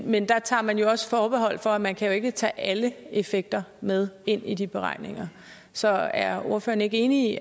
men der tager man også forbehold for at man kan tage alle effekter med ind i de beregninger så er ordføreren ikke enig